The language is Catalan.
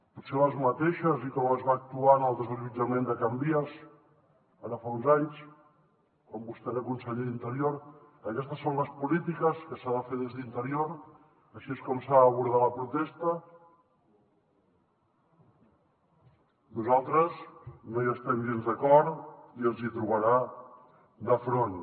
potser les mateixes i com es va actuar en el desallotjament de can vies ara fa uns anys quan vostè era conseller d’interior aquestes són les polítiques que s’han de fer des d’interior així és com s’ha d’abordar la protesta nosaltres no hi estem gens d’acord i ens hi trobarà de front